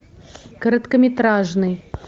короткометражный